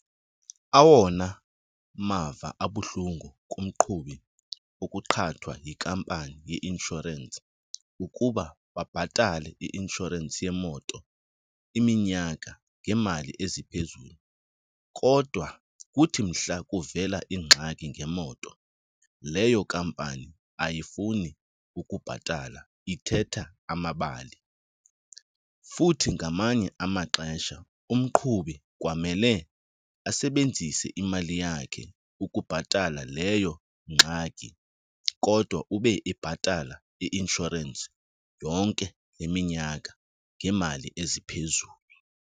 Awona mava abuhlungu kumqhubi ukuqhathwa yikampani yeinshorensi ukuba babhatale i-inshorensi yemoto iminyaka ngeemali eziphezulu kodwa kuthi mhla kuvela ingxaki ngemoto, leyo kampani ayifuni ukubhatala ithetha amabali. Futhi ngamanye amaxesha umqhubi kwamele asebenzise imali yakhe ukubhatala leyo ngxaki kodwa ube ibhatala i-inshorensi yonke le minyaka ngeemali eziphezulu.